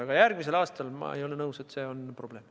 Aga ma ei ole nõus, et see oleks järgmise aasta puhul probleem.